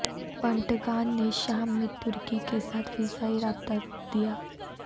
Pentagon نے شام میں ترکی کے ساتھ فضائی رابطہ روک دیا